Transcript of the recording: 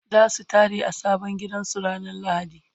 zasu tare a sabon gidan su ranar lahadi